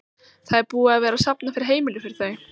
Það er búið að vera safna fyrir heimili fyrir þau?